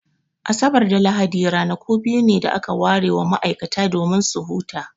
Asabar da Lahadi ranaku biyu ne da aka ware wa ma'aikata domin su huta.